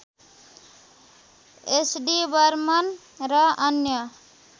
SD Burman र अन्य